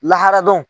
Lahara dɔn